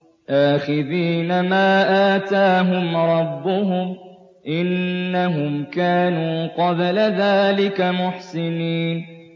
آخِذِينَ مَا آتَاهُمْ رَبُّهُمْ ۚ إِنَّهُمْ كَانُوا قَبْلَ ذَٰلِكَ مُحْسِنِينَ